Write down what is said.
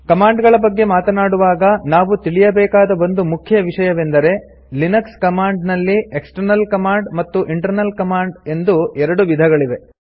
command ಗಳ ಬಗ್ಗೆ ಮಾತಾಡುವಾಗ ನಾವು ತಿಳಿಯಬೇಕಾದ ಒಂದು ಮುಖ್ಯ ವಿಷಯವೆಂದರೆ ಲಿನಕ್ಸ್ ಕಮಾಂಡ್ ನಲ್ಲಿ ಎಕ್ಸ್ಟರ್ನಲ್ ಕಮಾಂಡ್ ಮತ್ತು ಇಂಟರ್ನಲ್ ಕಮಾಂಡ್ ಎಂದು ಎರಡು ವಿಧಗಳಿವೆ